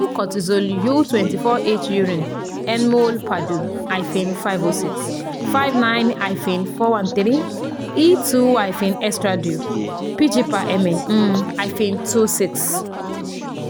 two )kortizol u twenty four h urinu (nmol/du) - five hundred six ( fifty nine um - four hundred thirteen )e two -estradiol (pg/ml) um - twenty six